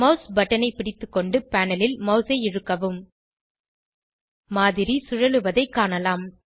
mouse பட்டனை பிடித்துக்கொண்டு panel ல் மவுஸை இழுக்கவும் மாதிரி சுழலுவதைக் காணலாம்